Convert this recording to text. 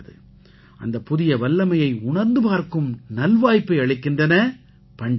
அந்தப் புதிய வல்லமையைப் உணர்ந்து பார்க்கும் நல்வாய்ப்பை அளிக்கின்றன பண்டிகைகள்